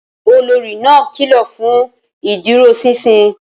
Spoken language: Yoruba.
Olórí náà kìlọ̀ fún ìdúróṣinṣin